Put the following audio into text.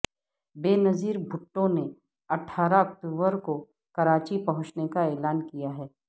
بینظیر بھٹو نے اٹھارہ اکتوبر کو کراچی پہنچنے کا اعلان کیا ہے